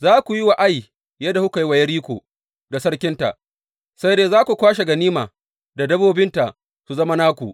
Za ku yi wa Ai yadda kuka yi wa Yeriko da sarkinta, sai dai za ku kwashe ganima da dabbobinta su zama naku.